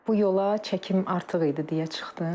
Bu yola çəkim artıq idi deyə çıxdım.